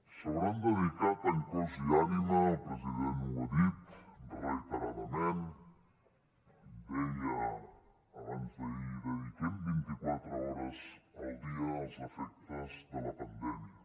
s’hauran dedicat en cos i ànima el president ho ha dit reiteradament deia abansd’ahir dediquem vint i quatre hores al dia als efectes de la pandèmia